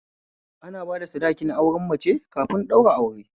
Ana bada sadakin auren mace kafin ɗaura aure